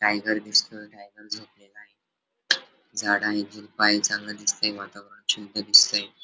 Tiger दिसतोय tiger झोपलेला आहे झाड आहे वातावरण शुद्ध दिसतय.